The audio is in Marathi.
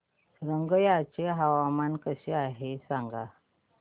रंगिया चे हवामान कसे आहे सांगा